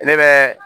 Ne bɛ